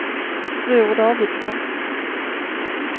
Bror Davidsson